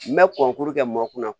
N bɛ kɔnkuru kɛ mɔn kunna na